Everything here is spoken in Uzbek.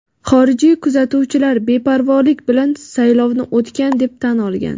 Xorijiy kuzatuvchilar beparvolik bilan saylovni o‘tgan deb tan olgan.